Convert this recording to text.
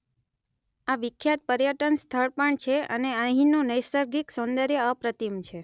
આ વિખ્યાત પર્યટન સ્થળ પણ છે અને અહીંનું નૈસર્ગિક સૌંદર્ય અપ્રતિમ છે